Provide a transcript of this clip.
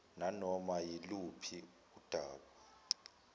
nanoma yiluphi udaba